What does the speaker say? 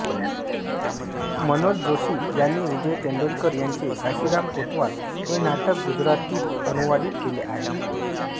मनोज जोशी यांनी विजय तेंडुलकर यांचे घाशीराम कोतवाल हे नाटक गुजराथीत अनुवादित केले आहे